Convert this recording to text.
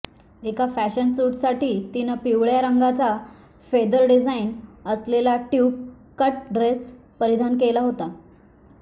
एका फॅशन शूटसाठी तिनं पिवळ्या रंगाचा फेदर डिझाइन असलेला ट्युब कट ड्रेस परिधान केला होता